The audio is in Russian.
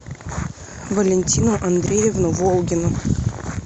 валентину андреевну волгину